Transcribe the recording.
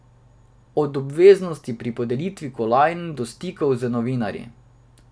Od obveznosti pri podelitvi kolajn do stikov z novinarji.